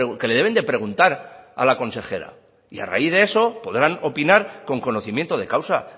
que le deben de preguntar a la consejera y a raíz de eso podrán opinar con conocimiento de causa